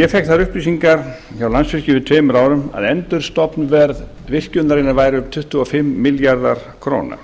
ég fékk þær upplýsggnar hjá landsvirkjun fyrir tveimur árum að endurstofnverð virkjunarinnar væri um tuttugu og fimm milljarðar króna